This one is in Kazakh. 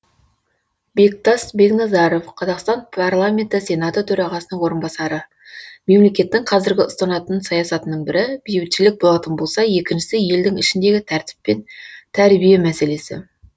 бектас бекназаров қазақстан парламенті сенаты төрағасының орынбасары мемлекеттің қазіргі ұстанатын саясатының бірі бейбітшілік болатын болса екіншісі елдің ішіндегі тәртіп пен тәрбие мәселесі